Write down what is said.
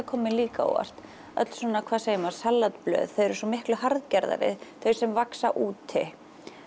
kom mér líka á óvart öll svona hvað segir maður salatblöð þau eru svo miklu harðgerðari þau sem vaxa úti